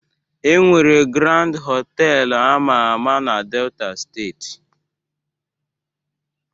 E nwere Grand họtelu ama ama na Delta steeti